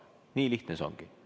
Nii lihtne see ongi.